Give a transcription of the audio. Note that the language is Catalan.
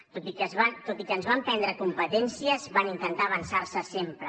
tot i que ens van prendre competències van intentar avançar se sempre